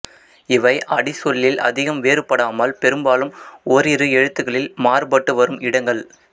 இவை அடிச்சொல்லில் அதிகம் வேறு படாமல் பெரும்பாலும் ஓரிரு எழுத்துக்களில் மாறு பட்டு வரும் இடங்கள்